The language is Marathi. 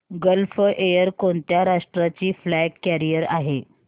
गल्फ एअर कोणत्या राष्ट्राची फ्लॅग कॅरियर आहे